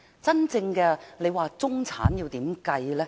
真正的中產要如何計算呢？